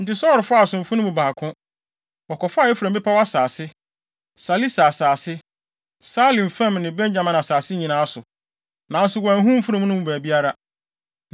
Enti Saulo faa asomfo no mu baako. Wɔkɔfaa Efraim bepɔw asase, Salisa asase, Saalim fam ne Benyamin asase nyinaa so, nanso wɔanhu mfurum no baabiara.